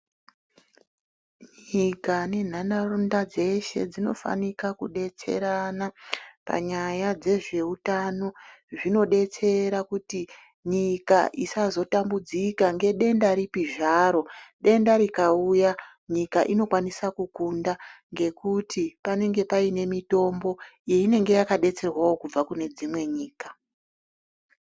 Nyika nenharaunda dzeshe dzinofanirana kudetserana panyaya dzezveutano. Zvinodetsera kuti nyika isazotambudzika nedenda ripi zvaro nyika inokone kukunda ngenyaya yekuti inenge ine mitombo yainenge yakadetserwawo kubva kune dzimwe nyika.